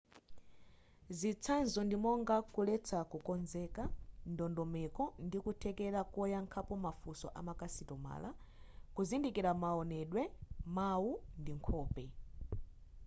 zitsanzo ndi monga kuletsa kukonzeka ndondomeko ndi kuthekera koyankhapo mafunso amakasitomala kuzindikira maonedwe mau ndi nkhope